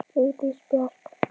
Vigdís Björk.